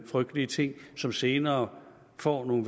frygtelige ting som senere får nogle